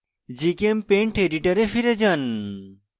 gchempaint editor ফিরে যান